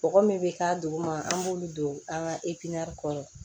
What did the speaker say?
Bɔgɔ min bɛ k'a duguma an b'olu don an ka kɔrɔ